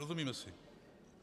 Rozumíme si?